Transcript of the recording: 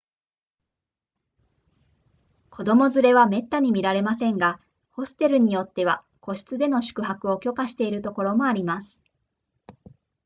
子供連れはめったに見られませんがホステルによっては個室での宿泊を許可しているところもあります